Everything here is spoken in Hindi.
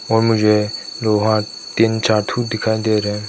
और मुझे लोहा तीन चाथू दिखाई दे रहें है।